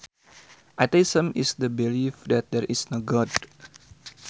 Atheism is the belief that there is no God